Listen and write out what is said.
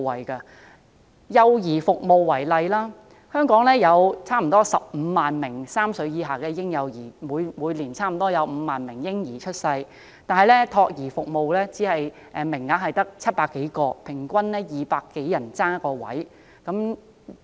以幼兒照顧服務為例，香港有差不多15萬名3歲以下的嬰幼兒，每年差不多有5萬名嬰兒出世，但資助託兒服務名額卻只有700多個，平均200多人爭奪1個名額。